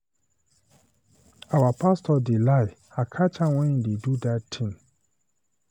Our pastor dey lie, I catch am when he dey do that thing.